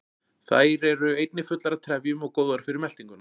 Þær eru einnig fullar af trefjum og góðar fyrir meltinguna.